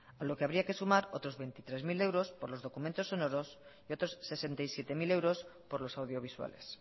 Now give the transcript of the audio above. con lo que habría que sumar otros veintitrés mil euros por los documentos sonoros y otros sesenta y siete mil euros por los audiovisuales